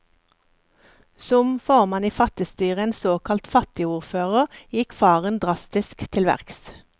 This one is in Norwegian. Som formann i fattigstyret, en såkalt fattigordfører, gikk faren drastisk til verks.